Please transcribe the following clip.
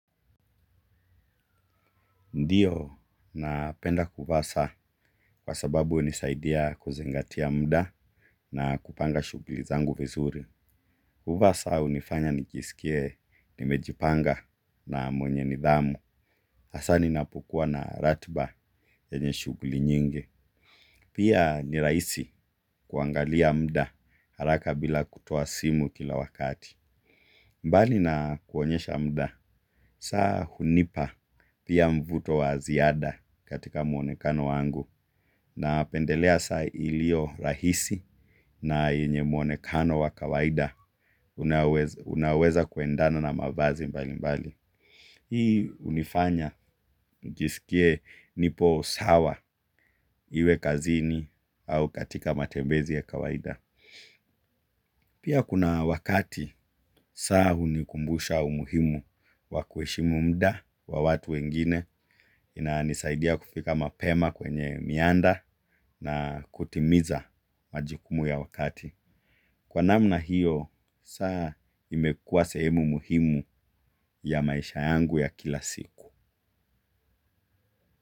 Ndiyo napenda kuvaa saa kwa sababu unisaidia kuzingatia muda na kupanga shuguli zangu vizuri. Kuvaa saa unifanya nikisikie nimejipanga na mwenye nidhamu. Asa ni napokua na ratba yenye shugli nyingi. Pia ni raisi kuangalia mda haraka bila kutoa simu kila wakati. Mbali na kuonyesha mda. Saa hunipa pia mvuto wa ziada katika mwonekano wangu napendelea sa ilio rahisi na yenye mwonekano wa kawaida unaoweza kuendana na mabazi mbali mbali. Hii unifanya njisikie nipo sawa iwe kazini au katika matembezi ya kawaida. Pia kuna wakati saa unikumbusha umuhimu wa kuheshimu mda wa watu wengine, ina nisaidia kufika mapema kwenye mianda na kutimiza majukumu ya wakati. Kwa namna hiyo, saa imekuwa sehemu muhimu ya maisha yangu ya kila siku.